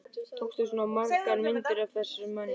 Tókstu svona margar myndir af þessum mönnum?